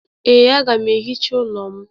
Ee, a ga m ehicha ụlọ m